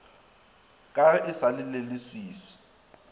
ka ge e sa leleswiswi